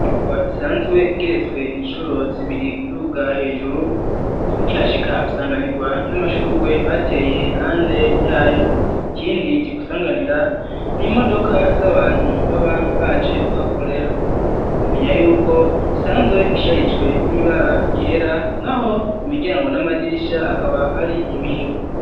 Inyubakwa isanzwe igeretswe incuro zibiri uduga hejuru ukihashika usanganirwa n'amashurwe bateye hande yayo, ikindi kigusanganira n'imodoka z'abantu baba baje kuhakorera womenya yuko isanzwe isharijwe n'ibara ryera naho imiryango n'amadirisha akaba ari ibiyo.